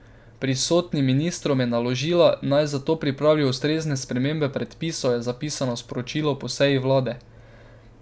Pristojnim ministrstvom je naložila, naj zato pripravijo ustrezne spremembe predpisov, je zapisano v sporočilu po seji vlade.